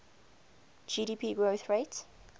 gdp growth rate